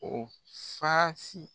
ɔ saasi